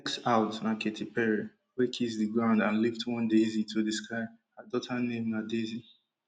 next out na katy perry wey kiss di ground and lift one daisy to di sky her daughter name na daisy